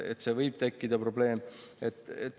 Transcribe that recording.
Võib tekkida probleem.